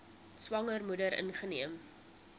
swanger moeder ingeneem